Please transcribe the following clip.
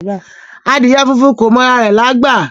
Adìẹ funfun kò mọ ara rẹ̀lágbà